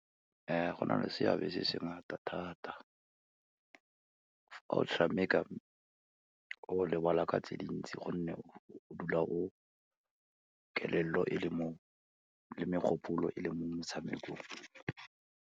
Go na le seabe se se ngata thata, ha o tshameka, o lebala ka tse dintsi gonne o dula o, kelello e le mo, le megopolo e le mo metshamekong.